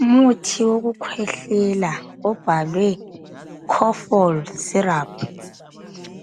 Umuthi wokukhwehlela obhalwe KOFOL syrup.